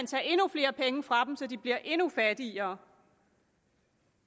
tage endnu flere penge fra dem så de bliver endnu fattigere